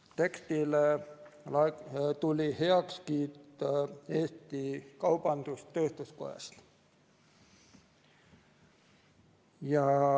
Tekstile tuli heakskiit Eesti Kaubandus-Tööstuskojast.